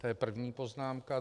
To je první poznámka.